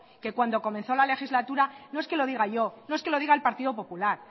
que cuando comenzó la legislatura no es que lo diga yo no es que lo diga el partido popular